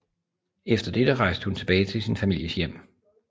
Efter dette rejste hun tilbage til sin families hjem